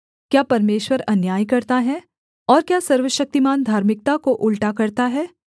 क्या परमेश्वर अन्याय करता है और क्या सर्वशक्तिमान धार्मिकता को उलटा करता है